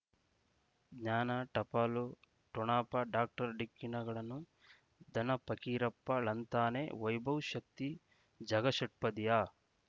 ಜ್ಞಾನ ಟಪಾಲು ಠೊಣಪ ಡಾಕ್ಟರ್ ಢಿಕ್ಕಿ ಣಗಳನು ಧನ ಪಕೀರಪ್ಪ ಳಂತಾನೆ ವೈಭವ್ ಶಕ್ತಿ ಝಗಾ ಷಟ್ಪದಿಯ